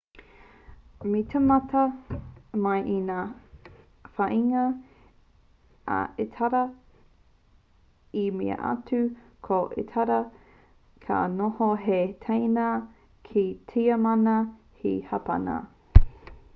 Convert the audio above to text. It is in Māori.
me tīmata mai i ngā whāinga a itāria i mua atu ko itāria ka noho hei teina ki a tiamana me hapāna